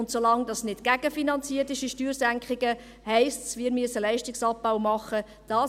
Und solange diese Steuersenkungen nicht gegenfinanziert sind, heisst dies, dass wir Leistungsabbau machen müssen.